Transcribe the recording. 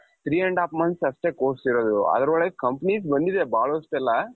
three and half month ಅಷ್ಟೆ course ಇರೋದು ಅದರೊಳಗೆ companies ಬಂದಿದೆ ಬಹಳಷ್ಟೆಲ್ಲಾ.